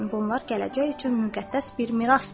Bunlar gələcək üçün müqəddəs bir mirasdır.